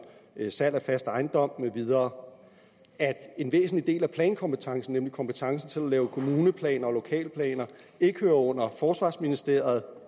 salg af fast ejendom med videre at en væsentlig del af plankompetencen nemlig kompetencen til at lave kommuneplaner og lokalplaner ikke hører under forsvarsministeriet